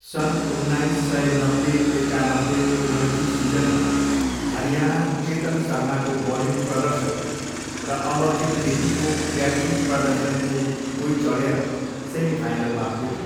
सन् उन्नाइस सय नब्बे एकानब्बेको रणजी सिजनमा, हरियाणा चेतन सर्माको बलिङ प्रदर्शन र अमरजित केपीको ब्याटिङ प्रदर्शनको बुई चढेर सेमिफाइनलमा पुग्यो।